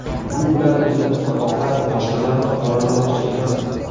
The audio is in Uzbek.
Bu bilan o‘zimizni oqlab, boshqalarni qoralamoqchi emasman.